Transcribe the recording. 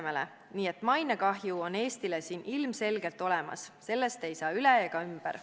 Nii et mainekahju on Eestile siin ilmselgelt olemas, sellest ei saa üle ega ümber.